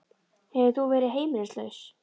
Hefur þú verið heimilislaus?